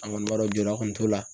An kɔni b'a dɔn jɔda kɔni t'o la.